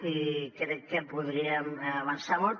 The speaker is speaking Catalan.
i crec que podríem avançar molt